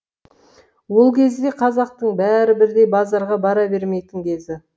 ол кезде қазақтың бәрі бірдей базарға бара бермейтін кезі